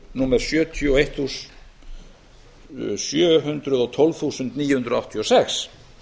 númer sjö hundruð og tólf þúsund níu hundruð áttatíu og sex